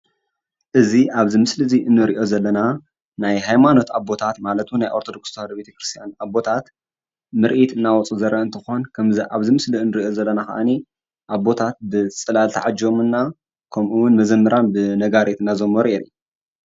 እዚ አብዚ ምስሊ እዚ እንሪኦ ዘለና ናይ ሃይማኖት አቦታት ማለት’ውን ናይ ኦርቶዶክስ ተዋህዶ ቤተክርስትያን አቦታት ምርኢት እናውፅኡ ዝርአ እንትኮን ፤ ከምዚ አብዚ ምስሊ እንሪኦ ዘለና ከኣኒ አቦታት ብፅላል ተዓጀቡና ከምኡውን መዘምራን ብነጋሪት እናዘመሩ እዮም፡፡